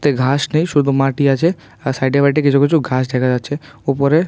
মাঠে ঘাস নেই শুধু মাটি আছে আর সাইডে বাইডে কিছু কিছু ঘাস দেখা যাচ্ছে উপরে--